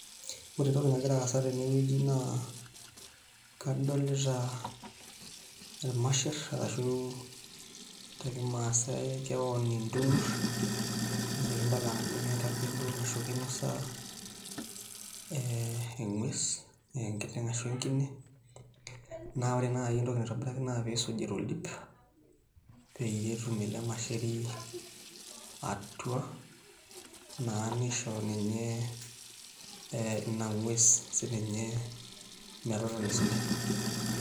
Ore entoki nagira aasa tenewueji naa kadolita irmasherr arashu tekimaasai keon intunurr naa kibala ajo ketakedo ashu kinosa eng'uess aa enkiteng' ashu enkine naa ore naai entoki naitobiraki naa piisuji toldip peyie etum ele masheri atua naa nisho ninye ina ng'ues sininye metotona esidai.